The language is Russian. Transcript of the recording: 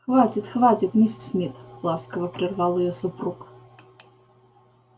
хватит хватит миссис мид ласково прервал её супруг